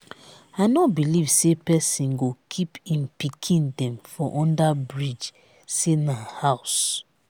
i no belive say pesin go keep im pikin dem for under bridge sey na house.